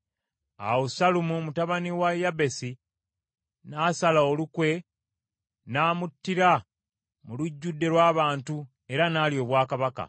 Awo Sallumu mutabani wa Yabesi, n’asala olukwe n’amuttira mu lujjudde lw’abantu, era n’alya obwakabaka.